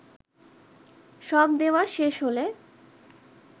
সব দেওয়া শেষ হলে